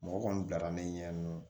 Mɔgɔ kɔni bilara min ɲɛ nɔ